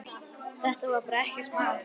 Þetta var bara ekkert mál.